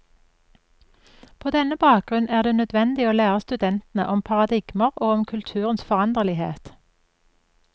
På denne bakgrunn er det nødvendig å lære studentene om paradigmer og om kulturens foranderlighet.